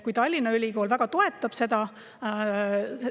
Tallinna Ülikool väga toetab seda.